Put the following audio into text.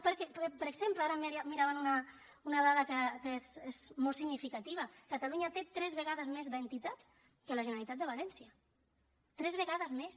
perquè per exemple ara mirava una dada que és molt significativa catalunya té tres vegades més d’entitats que la generalitat de valència tres vegades més